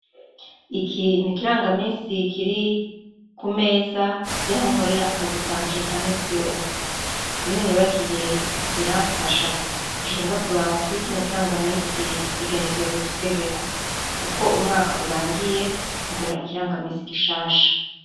Iki n'ikirangaminsi kiri kumeza yaho nkorer' akazi kanje kaminsi yose, iyo nibagiye biramfasha, nkaca nza kuraba kuri kino kirangamins' igenekerezo tugezeko, uko umwak' urangiye ngura ikirangaminsi gishasha.